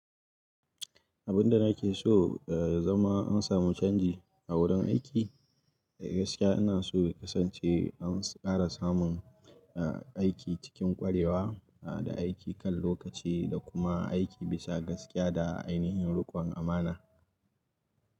Abin da nake so ya zama an samu canji a wurin aiki gaskiya ina so ya kasance an ƙara samun aiki cikin ƙwarewa da aiki kan lokaci da kuma aiki bisa gaskiya da ainihin riƙon amana.